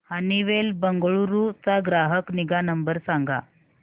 Honeywell Bengaluru चा ग्राहक निगा नंबर सांगा